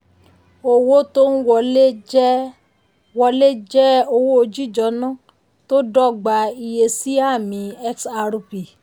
owó tó ń wọlé jẹ́ wọlé jẹ́ owó jíjọ́nà tó dọ́gba iye sí àmì xrp.